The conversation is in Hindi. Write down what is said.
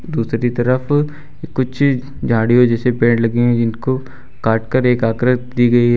दूसरी तरफ कुछ झाड़ियों जैसे पेड़ लगी हुई जिनको काट कर एक आकृति दी गई है।